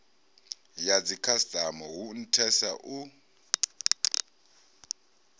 ya dzikhasitama hu nthesa u